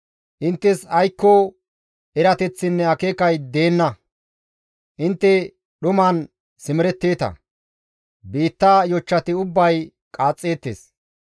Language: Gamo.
«Inttes aykko erateththinne akeekay deenna; intte dhuman simeretteeta; biitta yochchati ubbay qaaxxeettes.